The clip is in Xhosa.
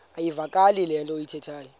iyavakala into ayithethayo